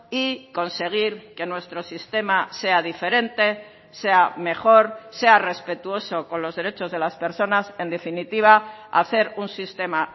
y conseguir que nuestro sistema sea diferente sea mejor sea respetuoso con los derechos de las personas en definitiva hacer un sistema